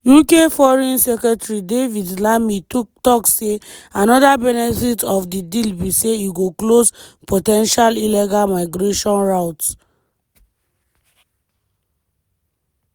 uk foreign secretary david lammy tok say anoda benefit of di deal be say e go close "po ten tial illegal migration route".